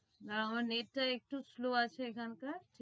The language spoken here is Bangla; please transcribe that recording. না আমার net টা একটু slow এখানকার।